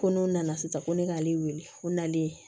Ko n'u nana sisan ko ne k'ale wele ko nalen